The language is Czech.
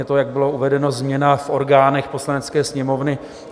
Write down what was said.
Je to, jak bylo uvedeno, změna v orgánech Poslanecké sněmovny.